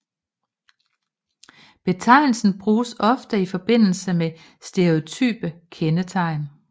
Betegnelse bruges ofte i forbindelse med stereotype kendetegn